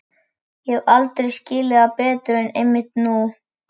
Ég hef aldrei skilið það betur en einmitt nú.